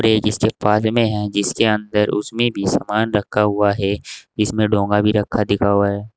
Page इसके पाद में है जिसके अंदर उसमें भी सामान रखा हुआ है इसमें डोंगा भी रखा दिखा हुआ है।